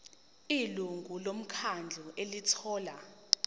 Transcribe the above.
ilungu lomkhandlu elithola